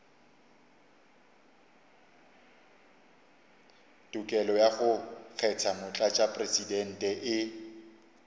tokelo ya go kgetha motlatšamopresidente